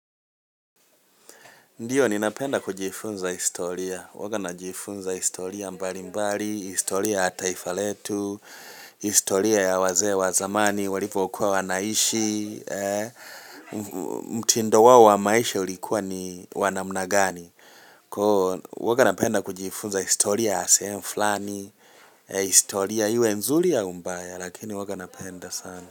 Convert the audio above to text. Ndio, ninapenda kujifunza historia. Uaga najifunza historia mbali mbali, historia ataifaletu, historia ya wazee wa zamani, walipokua wanaishi, mtindo wao wa maisha ulikuwa ni wanamnagani. Uaga napenda kujifunza historia a seem flani, historia iwe nzuri au mbaya, lakini uaga napenda sana.